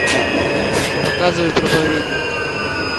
показывай проповедник